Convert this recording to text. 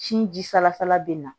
Sin jilasala bɛ na